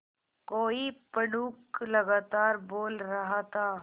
कोई पंडूक लगातार बोल रहा था